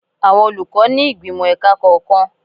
Àwọn olùkọ́ ni ìgbìmò ẹ̀ka kọ̀ọ̀kan.